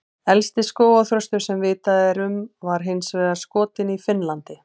Elsti skógarþröstur sem vitað er um var hins vegar skotinn í Finnlandi.